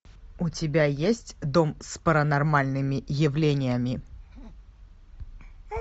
у тебя есть дом с паранормальными явлениями